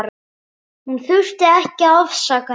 Hún þurfti ekki að afsaka neitt.